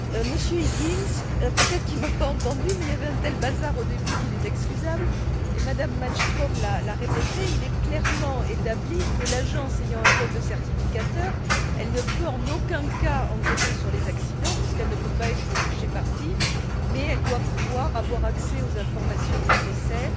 Monsieur Higgins peut être ne m'a t il pas entendue, mais il y avait un tel bazar au début qu'il est excusable, et Mme Malmström l'a répété il est clairement établi que, l'Agence ayant un rôle de certificateur, elle ne peut en aucun cas enquêter sur les accidents, puisqu'elle ne peut pas être juge et partie, mais elle doit pouvoir avoir accès aux informations nécessaires